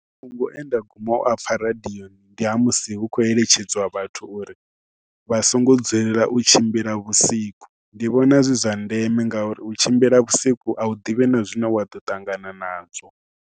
Mafhungo e nda guma u a pfha radioni ndi ha musi hu khou eletshedzwa vhathu uri vha songo dzulela u tshimbila vhusiku. Ndi vhona zwi zwa ndeme ngauri u tshimbila vhusiku a u ḓivhi na zwine wa ḓo ṱangana nazwo.